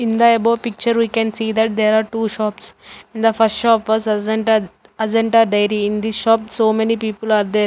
in the above picture we can see that there are two shops in the first shop was ajanta ajanta diary in this shop so many people are there.